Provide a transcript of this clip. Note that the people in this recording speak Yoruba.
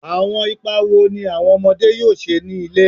Awọn ipa wo ni awọn ọmọde yoo ṣe ni ile?